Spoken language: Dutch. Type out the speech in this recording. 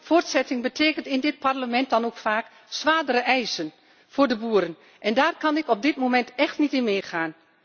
Voortzetting betekent in dit Parlement dan ook vaak zwaardere eisen voor de boeren en daar kan ik op dit moment echt niet in meegaan.